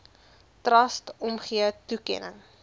trust omgee toekenning